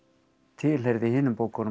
tilheyrði hinum bókunum